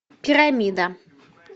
пирамида